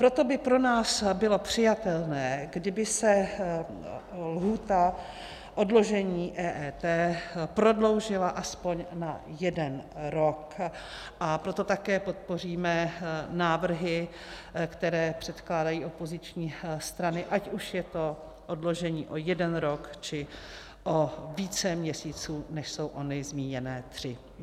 Proto by pro nás bylo přijatelné, kdyby se lhůta odložení EET prodloužila aspoň na jeden rok, a proto také podpoříme návrhy, které předkládají opoziční strany, ať už je to odložení o jeden rok, či o více měsíců, než jsou ony zmíněné tři.